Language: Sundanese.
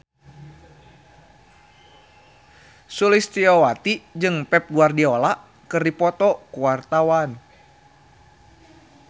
Sulistyowati jeung Pep Guardiola keur dipoto ku wartawan